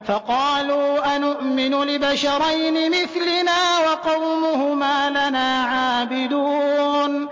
فَقَالُوا أَنُؤْمِنُ لِبَشَرَيْنِ مِثْلِنَا وَقَوْمُهُمَا لَنَا عَابِدُونَ